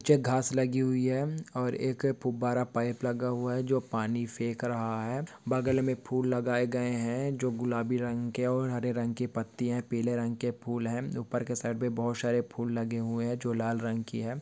नीचे घास लगी हुई है और एक फूब्बारा पाइप लगा हुआ है जो पानी फेक रहा है बगल मे फूल लगाए गए है जो गुलाबी रंग के और हरे रंग के पत्तिया पीले रंग के फूल है ऊपर के साइड पे बहुत सारे फूल लगे हुए जो लाल रंग की है।